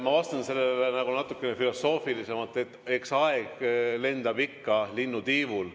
Ma vastan sellele nagu natukene filosoofilisemalt: eks aeg lendab ikka linnutiivul.